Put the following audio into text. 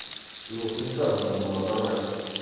его с унитаза надо было оторвать